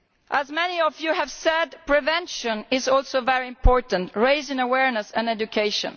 As many of you have said, prevention is also very important, including raising awareness and education.